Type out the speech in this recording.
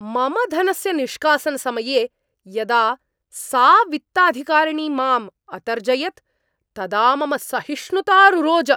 मम धनस्य निष्कासनसमये यदा सा वित्ताधिकारिणी माम् अतर्जयत् तदा मम सहिष्णुता रुरोज।